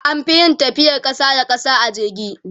an Fi yin tafiyar ƙasa da ƙasa a jirgi